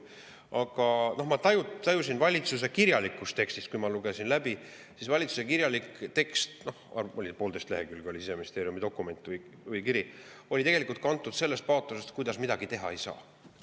Aga ma tajusin valitsuse kirjalikus tekstis, kui ma seda läbi lugesin – valitsuse kirjalik tekst, poolteist lehekülge pikk Siseministeeriumi dokument või kiri –, sellist paatost, et midagi teha ei saa.